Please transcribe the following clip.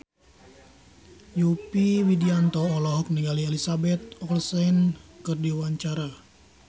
Yovie Widianto olohok ningali Elizabeth Olsen keur diwawancara